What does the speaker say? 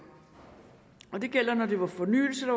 det gjaldt når det var fornyelse